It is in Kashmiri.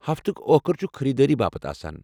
ہفتُك ٲخر چُھ خریدٲری باپت آسان۔